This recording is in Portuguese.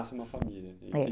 Nasce uma família, é